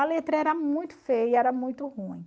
A letra era muito feia, e era muito ruim.